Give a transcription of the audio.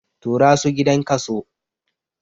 Tura su gidan kaso!